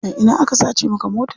A ina aka sace maka mota?